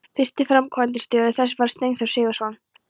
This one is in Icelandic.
Fyrsti framkvæmdastjóri þess var Steinþór Sigurðsson.